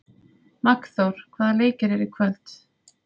Magnþór, hvaða leikir eru í kvöld?